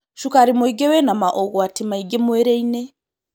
Cukari mũingĩwĩna maũgwati maingĩmwĩrĩ-inĩ.